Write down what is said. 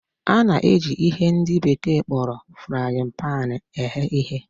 A na-eji ihe ndị bekee kpọrọ frayịn paanị eghe ihe.